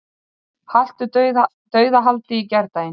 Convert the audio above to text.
Haltu dauðahaldi í gærdaginn.